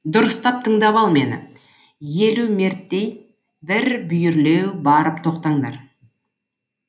дұрыстап тыңдап ал мені елу мерттей бір бүйірлеу барып тоқтаңдар